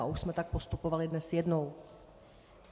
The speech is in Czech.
A už jsme tak postupovali dnes jednou.